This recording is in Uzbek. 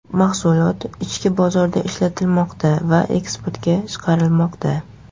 Mahsulot ichki bozorda ishlatilmoqda va eksportga chiqarilmoqda.